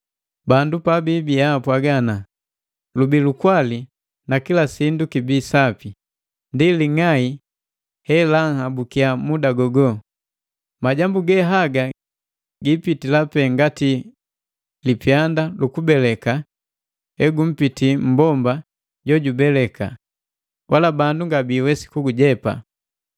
Bandu pabibia apwaga, “Lubii lukwali na kila sindu kibi sapi,” ndi ling'ai helanhabukia muda gogo! Majambu ge haga giipitila pee ngati lipyanda lukubeleka hegumpiti mmbomba jojubeleka, wala bandu nga biiwesi kugujepa.